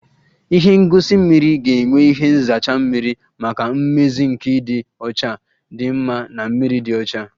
Ihe ngosi mmiri ga-enwe ihe nzacha mmiri maka mmezi nke ịdị ọcha dị mma na mmiri dị ọcha